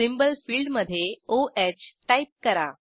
symbol फिल्डमधे o ह type करा